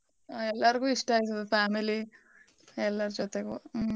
ಆ ಎಲ್ಲಾರ್ಗೂ ಇಷ್ಟ ಆಯ್ತದೆ family ಎಲ್ಲಾರ್ ಜೊತೆಗೂ ಹ್ಮ.